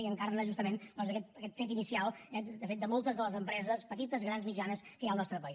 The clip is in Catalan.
i encarna justament doncs aquest fet inicial de fet de moltes de les empreses petites grans mitjanes que hi ha al nostre país